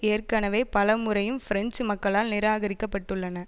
ஏற்கனவே பல முறையும் பிரெஞ்சு மக்களால் நிராகரிக்கப்பட்டுள்ளன